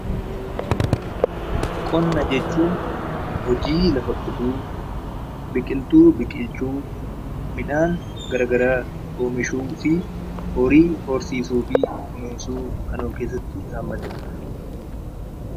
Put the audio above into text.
Qonna jechuun hojii lafa qotuu, biqiltuu biqilchuu, midhaan garaagaraa oomishuu fi horii horsiisuu fi kunuunsuu kan of keessatti hammatee dha.